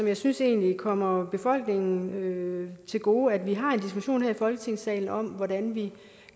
jeg synes egentlig det kommer befolkningen til gode at vi har en diskussion her i folketingssalen om hvordan vi